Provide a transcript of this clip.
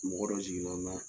Mɔgɔ dɔw